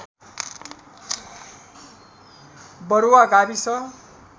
बरुवा गाविस